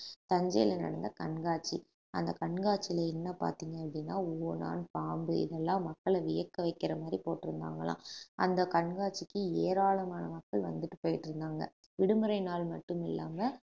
தஞ்சையில நடந்த கண்காட்சி அந்த கண்காட்சியில என்ன பார்த்தீங்க அப்படின்னா ஓணான் பாம்பு இதெல்லாம் மக்களை வியக்க வைக்கிற மாதிரி போட்டிருந்தாங்களாம் அந்த கண்காட்சிக்கு ஏராளமான மக்கள் வந்துட்டு போயிட்டு இருந்தாங்க விடுமுறை நாள் மட்டும் இல்லாம